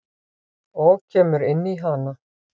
Og kemur inn í hana.